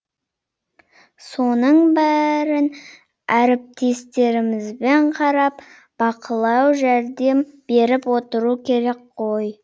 соның бәрін әріптестерімізбен қарап бақылау жәрдем беріп отыру керек қой